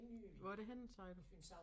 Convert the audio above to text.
Hvor er det henne sagde du?